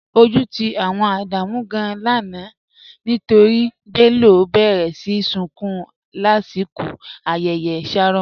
Ọju ti awọn Ádámù gàn-an lánà nítorí Bello béré sí súnkún lasikọ̀ ayẹyẹ shárọ̀.